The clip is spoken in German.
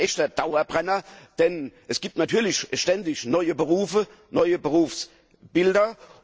Das ist ein echter Dauerbrenner, denn es gibt natürlich ständig neue Berufe und neue Berufsbilder.